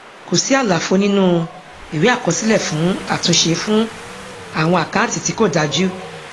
kò sí àlàfo nínú ìwé àkọsílẹ fún àtúnṣe fún àwọn àkáǹtì tí kò dájú